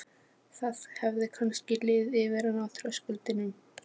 Hversdagslífið yfirleitt ekki í fókus skólabóka.